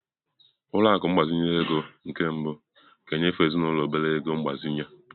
Ụlọ akụ ịgbazinye ego nke mbụ ga-enyefe ezinụlọ obere ego mgbazinye.